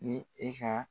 Ni e ka